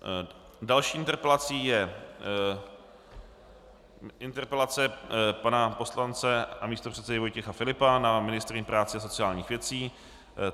Další interpelací je interpelace pana poslance a místopředsedy Vojtěcha Filipa na ministryni práce a sociálních věcí.